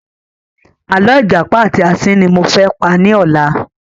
Àlọ́ ìjàpá àti asín ni mo fẹ́ pa ní ọ̀la